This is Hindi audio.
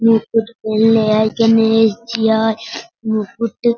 मुकुट पहनले हई के ने ए जय मुकुट --